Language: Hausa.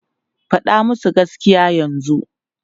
Faɗa musu gaskiya yanzu!